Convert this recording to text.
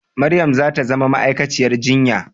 Maryam za ta zama ma'aikaciyar jinya